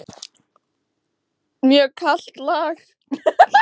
Mjög kalt lag.